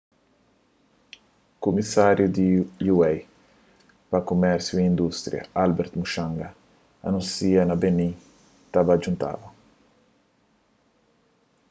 kumisáriu di ua pa kumérsiu y indústria albert muchanga anúnsia ma benim ta ba djuntaba